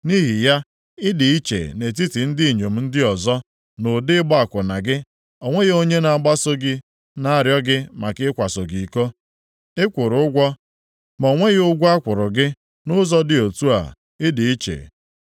Nʼihi ya, ị dị iche nʼetiti ndị inyom ndị ọzọ nʼụdị ịgba akwụna gị, o nweghị onye na-agbaso gị na-arịọ gị maka ịkwaso gị iko. Ị kwụrụ ụgwọ ma o nweghị ụgwọ a kwụrụ gị, nʼụzọ dị otu a ị dị iche.